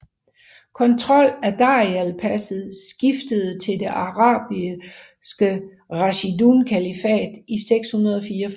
Kontrol af Darialpasset skiftede til det arabiske Rashidun kalifat i 644